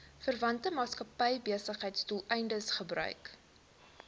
verwante maatskappybesigheidsdoeleindes gebruik